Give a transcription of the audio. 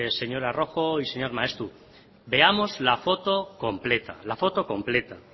señora rojo y señor maeztu veamos la foto completa la foto completa